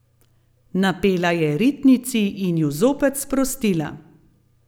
Napela je ritnici in ju zopet sprostila.